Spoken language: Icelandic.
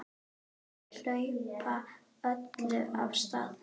Þau hlaupa öll af stað.